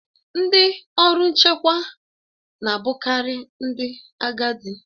Ndị ọrụ nchekwa na a bụkari ndị agadi.